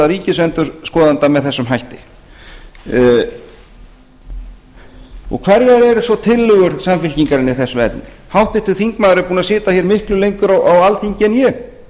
ríkisendurskoðanda með þessum hætti hverjar eru svo tillögur samfylkingarinnar í þessum efnum háttvirtur þingmaður er búinn að sitja hér miklu lengur á alþingi en ég